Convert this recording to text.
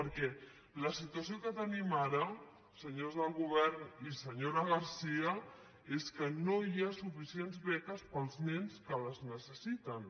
perquè la situació que tenim ara senyors del govern i senyora garcía és que no hi ha suficients beques per als nens que les necessiten